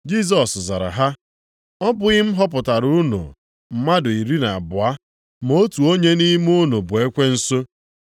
Jisọs zara ha, “Ọ bụghị m họpụtara unu mmadụ iri na abụọ? Ma otu onye nʼime unu bụ ekwensu!”